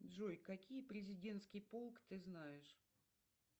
джой какие президентский полк ты знаешь